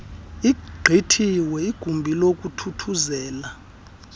igqityiwe igumbi lokuthuthuzela